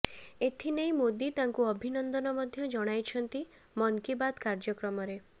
ଏଥିନେଇ ମୋଦି ତାଙ୍କୁ ଅଭିନନ୍ଦ ମଧ୍ୟ ଜଣାଇଛନ୍ତି ମନ କି ବାତ କାର୍ଯ୍ୟକ୍ରମରେ